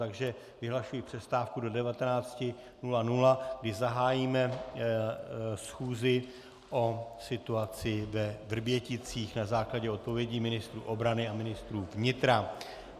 Takže vyhlašuji přestávku do 19.00, kdy zahájíme schůzi o situaci ve Vrběticích na základě odpovědí ministra obrany a ministra vnitra.